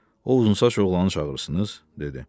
O uzunsaç oğlanı çağırırsınız? dedi.